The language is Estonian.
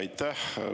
Aitäh!